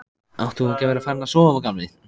Átt þú ekki að vera farinn að sofa, gamli?